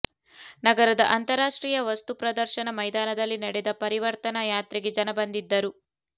ನಗರದ ಅಂತರಾಷ್ಟ್ರೀಯ ವಸ್ತು ಪ್ರದರ್ಶನ ಮೈದಾನದಲ್ಲಿ ನಡೆದ ಪರಿವರ್ತನಾ ಯಾತ್ರೆಗೆ ಜನ ಬಂದಿದ್ದರು